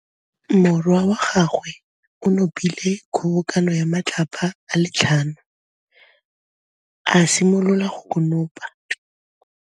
Morwa wa gagwe o nopile kgobokanô ya matlapa a le tlhano, a simolola go konopa.